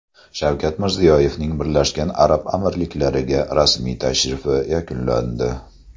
Shavkat Mirziyoyevning Birlashgan Arab Amirliklariga rasmiy tashrifi yakunlandi.